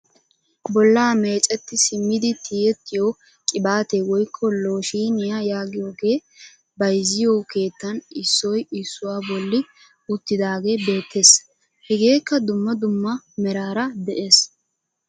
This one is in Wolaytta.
Bollaa mecetti simmidi tiyettiyo qibatee woykko looshiniyaa yaagiyooge bayzziyo keettan issoy issuwaa bolli uttidagee beettees. Hegeekka dumma dumma meraara de'ees.